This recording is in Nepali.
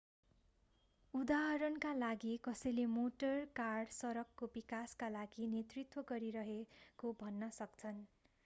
उदाहरणका लागि कसैले मोटर कार सडकको विकासका लागि नेतृत्व गरिरहेको भन्न सक्छन्